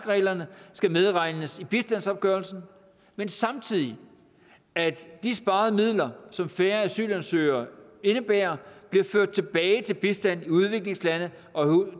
reglerne skal medregnes i bistandsopgørelsen men samtidig at de sparede midler som færre asylansøgere indebærer bliver ført tilbage til bistand i udviklingslandene og